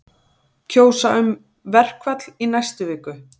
Kjósa um verkfall í næstu viku